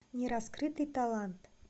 нераскрытый талант